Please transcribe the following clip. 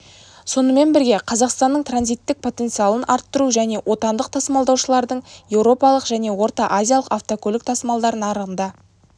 сонымен бірге қазақстанның транзиттік потенциалын арттыру және отандық тасымалдаушылардың еуропалық және орта азиялық автокөлік тасымалдар нарығында